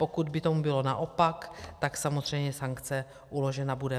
Pokud by tomu bylo naopak, tak samozřejmě sankce uložena bude.